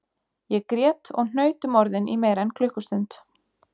Ég grét og hnaut um orðin í meira en klukkustund